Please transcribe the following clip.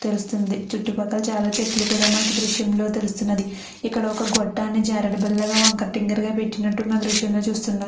చుట్టుపక్కల చాలా చెట్లు కూడా మనకు ఈ దృశ్యంలో తెలుస్తుంది. ఇక్కడ ఒక గొట్టం జారుడుబల్లగా వంకర టింకరగా పెట్టినట్టుగా మనము దృశ్యంగా చూస్తున్నాము.